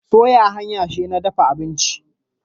Soya hanya ce ta dafa abinci.